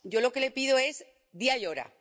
Yo lo que le pido es día y hora.